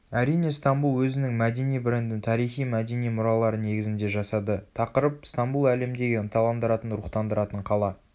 әрине стамбул өзінің мәдени брендін тарихи-мәдени мұралары негізінде жасады тақырып стамбул әлемдегі ынталандыратын рухтандыратын қала